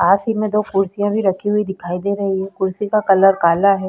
पास ही में दो कुर्सियाँ भी रखी दिखाई दे रही हैं। कुर्सी का कलर काला है।